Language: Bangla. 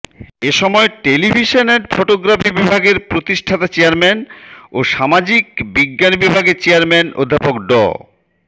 এ সময় টেলিভিশন অ্যান্ড ফটোগ্রাফি বিভাগের প্রতিষ্ঠাতা চেয়ারম্যান ও সামাজিক বিজ্ঞান বিভাগের চেয়ারম্যান অধ্যাপক ড